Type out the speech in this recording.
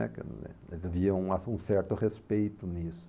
Aquilo né, havia um a um certo respeito nisso.